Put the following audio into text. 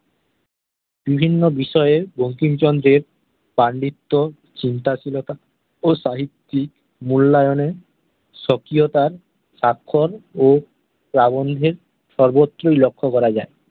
বিভিন্ন বিষয়ে বঙ্কিমচন্দ্র-এর পাণ্ডিত্য, চিন্তাশীলতা ও সাহিত্যিক মূল্যায়নে স্বকীয়তার সাক্ষর ও প্রাবন্ধিক সর্বত্রই লক্ষ্য করা যায়।